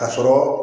Ka sɔrɔ